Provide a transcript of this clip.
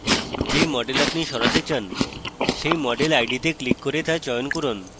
যে model আপনি সরাতে চান সেই model id তে ক্লিক করে তা চয়ন করুন